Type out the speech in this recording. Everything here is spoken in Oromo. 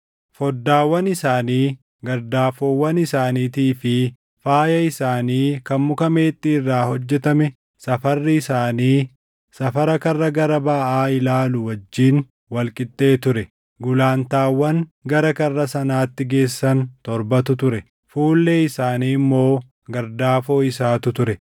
Foddaawwan isaanii, gardaafoowwan isaaniitii fi faaya isaanii kan muka meexxii irraa hojjetame safarri isaanii safara karra gara baʼaa ilaalu wajjin wal qixxee ture. Gulantaawwan gara karra sanaatti geessan torbatu ture; fuullee isaanii immoo gardaafoo isaatu ture.